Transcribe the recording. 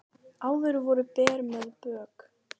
Áður voru ber með bök